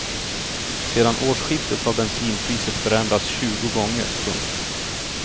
Sedan årskiftet har bensinpriset förändrats tjugo gånger. punkt